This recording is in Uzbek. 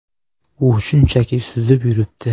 U shunchaki suzib yuribdi.